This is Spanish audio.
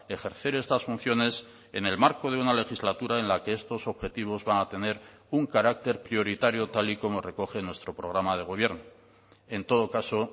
ejercer estas funciones en el marco de una legislatura en la que estos objetivos van a tener un carácter prioritario tal y como recoge nuestro programa de gobierno en todo caso